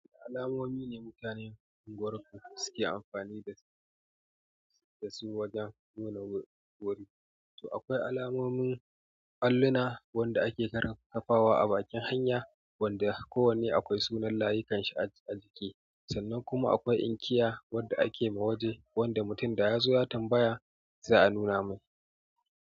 Alamomi ne mutanen unguwar ku suke amfani dasu wajen nuna wuri. To akwai alamomin allona wadda ake kafawa a bakin hanya wanda kowane akwai sunan layikanshi ajiki. Sannan kuma akwai inkiya wanda ake ma waje wanda mutum da ya zo ya tambaya za a nuna mai.